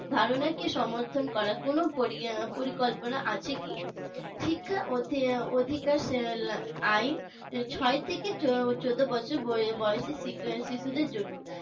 ধারণাকে সমর্থন করার কোন পরিকল্পনা আছে কি? শিক্ষা অধিকার আইন ছয় থেকে চোদ্দ বছর বয়সী শিক্ষা শিশুদের জন্য